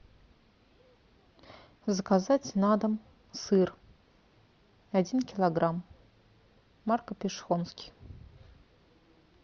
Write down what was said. заказать на дом сыр один килограмм марка пешехонский